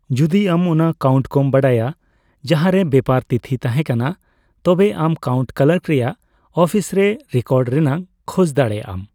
ᱡᱩᱫᱤ ᱟᱢ ᱚᱱᱟ ᱠᱟᱣᱩᱱᱴᱤ ᱠᱚᱢ ᱵᱟᱰᱟᱭᱟ ᱡᱟᱸᱦᱟ ᱨᱮ ᱵᱮᱯᱟᱨ ᱛᱷᱤᱛᱤ ᱛᱟᱦᱮᱸ ᱠᱟᱱᱟ, ᱛᱚᱵᱮ ᱟᱢ ᱠᱟᱣᱩᱱᱴᱤ ᱠᱞᱟᱨᱠ ᱨᱮᱭᱟᱜ ᱚᱯᱷᱤᱥᱨᱮ ᱨᱮ ᱨᱮᱠᱚᱨᱰ ᱨᱮᱱᱟᱜ ᱠᱷᱚᱡ ᱫᱟᱲᱮᱭᱟᱜ ᱟᱢ ᱾